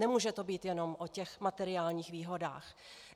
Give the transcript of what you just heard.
Nemůže to být jenom o těch materiálních výhodách.